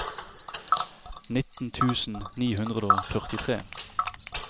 nitten tusen ni hundre og førtitre